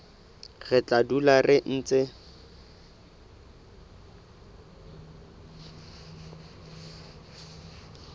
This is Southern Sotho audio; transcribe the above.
re tla dula re ntse